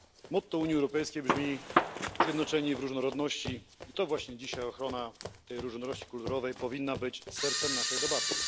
Motto Unii Europejskiej brzmi Zjednoczeni w różnorodności i to właśnie dzisiaj ochrona tej różnorodności kulturowej powinna być sercem naszej debaty.